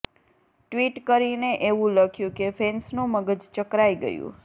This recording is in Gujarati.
ટ્વિટ કરીને એવું લખ્યું કે ફેન્સનું મગજ ચકરાઇ ગયુ